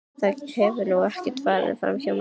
Það hefur nú ekki farið framhjá manni.